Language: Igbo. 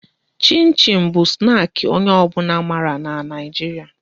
Chin chin bụ snaki onye ọ bụla mara n'Naijiria